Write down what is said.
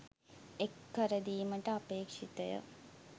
එක් කර දීමට අපේක්ෂිතය.